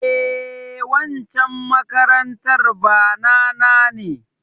Eh, waccan makarantar bana na ne.